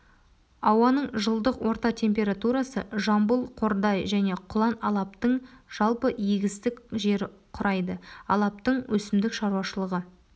ауаның жылдық орта температурасы жамбыл қордай және құлан алаптың жалпы егістік жері құрайды алаптың өсімдік шаруашылығы